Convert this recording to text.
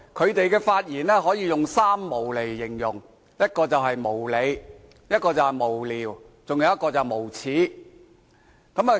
他們的發言可以用"三無"來形容：無理、無聊、無耻。